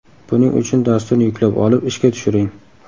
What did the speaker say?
Buning uchun dasturni yuklab olib, ishga tushiring.